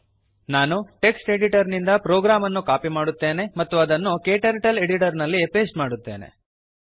ನಾನು text editor ನಿಂದ program ಅನ್ನು ಕಾಪಿ ಮಾಡುತ್ತೇನೆ ಮತ್ತು ಅದನ್ನು ಕ್ಟರ್ಟಲ್ Editorನಲ್ಲಿ ಪೇಸ್ಟ್ ಮಾಡುತ್ತೇನೆ